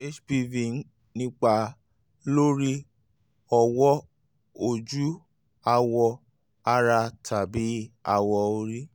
hpv ń nípa lórí ọwọ́ ojú awọ̀ ara tàbí awọ orí